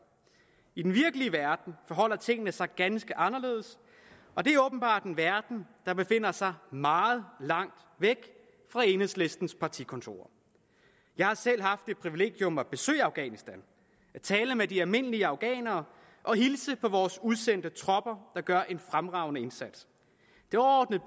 i den virkelige verden forholder tingene sig ganske anderledes og det er åbenbart en verden der befinder sig meget langt væk fra enhedslistens partikontorer jeg har selv haft det privilegium at besøge afghanistan at tale med de almindelige afghanere og hilse på vores udsendte tropper der gør en fremragende indsats det overordnede